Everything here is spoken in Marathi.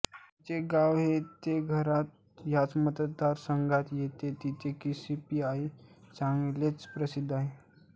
त्याचे गाव हे तेघरा ह्या मतदारसंघात येते जिथे कि सी पी आई चांगलेच प्रसिद्ध आहे